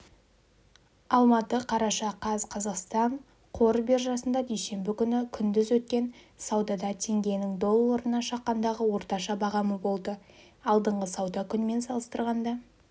алматы қараша қаз қазақстан қор биржасында дүйсенбі күні күндіз өткен саудада теңгенің долларына шаққандағы орташа бағамы болды алдыңғы сауда күнімен салыстырғанда